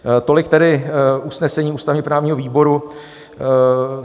Tolik tedy usnesení ústavně-právního výboru.